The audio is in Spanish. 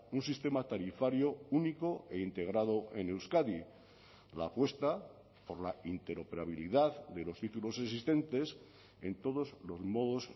un sistema tarifario único e integrado en euskadi la apuesta por la interoperabilidad de los títulos existentes en todos los modos